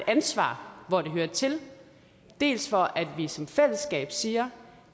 ansvar hvor det hører til dels for at vi som fællesskab siger